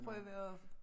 Prøve at